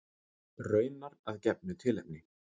Raunar að gefnu tilefni.